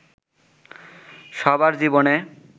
সবার জীবনে